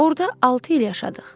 Orda altı il yaşadıq.